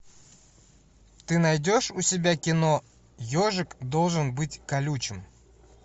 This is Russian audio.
ты найдешь у себя кино ежик должен быть колючим